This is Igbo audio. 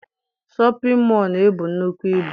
Shọpịn mọọ na-ebu nnukwu ibu.